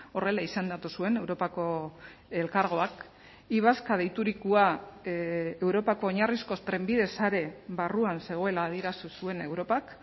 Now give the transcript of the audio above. horrela izendatu zuen europako elkargoak y vasca deiturikoa europako oinarrizko trenbide sare barruan zegoela adierazi zuen europak